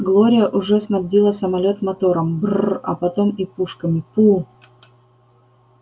глория уже снабдила самолёт мотором брр а потом и пушками пусть